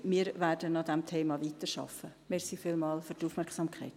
Wir werden an diesem Thema weiterarbeiten.